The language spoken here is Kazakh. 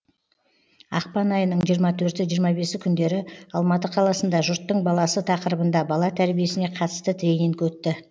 ақпан айының жиырма төрті жиырма бесі күндері қаласында жұрттың баласы тақырыбында бала тәрбиесіне қатысты тренинг өтті